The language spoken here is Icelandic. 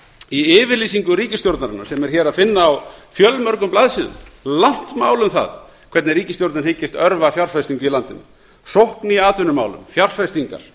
í yfirlýsingu ríkisstjórnarinnar sem er hér að finna á fjölmörgum blaðsíðum langt mál um það hvernig ríkisstjórnin hyggist örva fjárfestingu í landinu sókn í atvinnumálum fjárfestingar